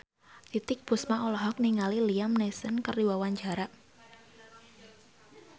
Titiek Puspa olohok ningali Liam Neeson keur diwawancara